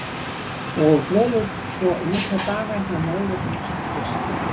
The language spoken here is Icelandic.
Og dvelur svo í nokkra daga hjá móður hans og systur.